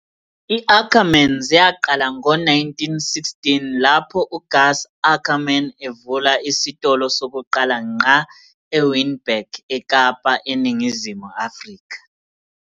I-Ackermans yaqala ngo-1916 lapho uGus Ackerman evula isitolo sokuqala ngqa eWynberg, eKapa, eNingizimu Afrika